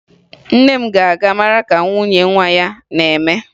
Nne m ga-aga mara ka nwunye nwa ya na-eme